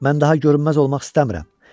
Mən daha görünməz olmaq istəmirəm.